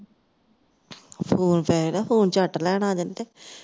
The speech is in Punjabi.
phone ਪਏ ਦਾ phone ਝਟ ਲੈਣ ਆ ਜਾਂਦੀ ਤੇ